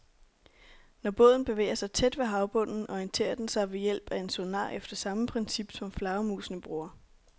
Når båden bevæger sig tæt ved havbunden, orienterer den sig ved hjælp af en sonar efter samme princip, som flagermusene bruger.